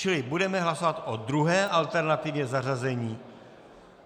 Čili budeme hlasovat o druhé alternativě zařazení.